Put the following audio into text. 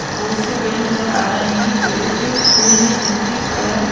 बहुत से पेड़ नजर आ रहे हैं पेड़ों पे फूल हैं जिनके कलर --